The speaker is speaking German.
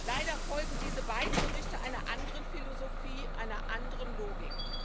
Leider folgen diese beiden Berichte einer anderen Philosophie, einer anderen Logik.